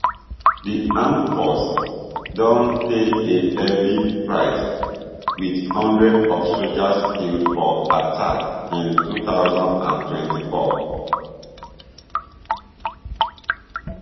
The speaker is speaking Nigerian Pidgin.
di armed forces don pay a heavy price wit hundreds of soldiers killed for attacks in two thousand and twenty-four